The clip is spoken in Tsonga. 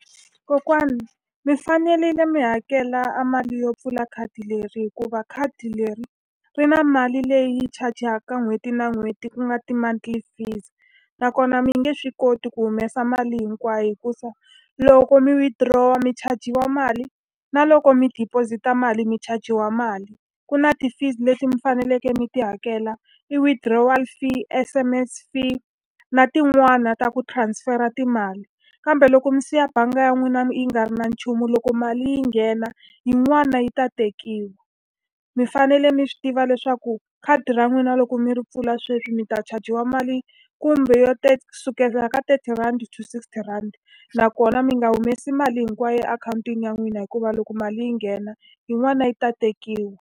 Kokwani mi fanele mi hakela a mali yo pfula khadi leri hikuva khadi leri, ri na mali leyi chajaka n'hweti na n'hweti ku nga ti-monthly fees. Nakona mi nge swi koti ku humesa mali hinkwayo hikuva loko mi withdraw-a mi chajiwa mali, na loko mi deposit-a mali mi chajiwa mali. Ku na ti-fees leti mi faneleke mi ti hakela. Ti-withdraw fee. ti-S_M_S fee na tin'wana ta ku transfer-a timali. Kambe loko mi siya bangi ya n'wina yi nga ri na nchumu loko mali yi nghena, yin'wana yi ta tekiwa. Mi fanele mi swi tiva leswaku khadi ra n'wina loko mi ri pfula sweswi mi ta chajiwa mali, kumbe yo kusukela ka thirty rand to sixty rand. Nakona mi nga humesi mali hinkwayo akhawuntini ya n'wina hikuva loko mali yi nghena, yin'wana yi ta tekiwa.